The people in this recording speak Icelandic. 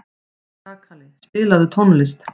Kakali, spilaðu tónlist.